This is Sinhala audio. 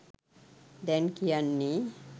දැන් කියන්නේ